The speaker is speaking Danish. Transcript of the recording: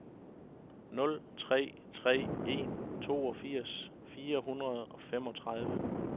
nul tre tre en toogfirs fire hundrede og femogtredive